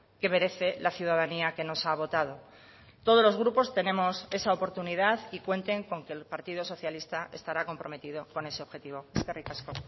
que merece la ciudadanía que nos ha votado todos los grupos tenemos esa oportunidad y cuenten con que el partido socialista estará comprometido con ese objetivo eskerrik asko